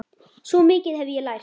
Svo mikið hef ég lært.